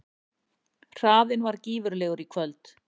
Hraðinn var gífurlegur í kvöld